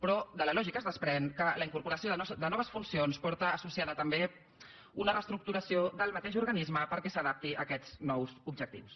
però de la lògica es desprèn que la incorporació de noves funcions porta associada també una reestructuració del mateix organisme perquè s’adapti a aquests nous objectius